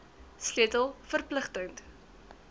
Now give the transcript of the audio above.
sleutel verpligting t